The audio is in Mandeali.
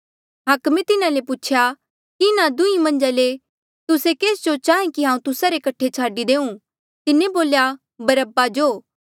हाकमे तिन्हा ले पूछेया कि इन्हा दुंहीं मन्झा ले तुस्से केस जो चाहें कि हांऊँ तुस्सा रे कठे छाडी देऊं तिन्हें बोल्या बरअब्बा जो